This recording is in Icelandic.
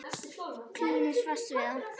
Klínist fast við það.